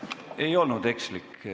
Ei olnud ekslik.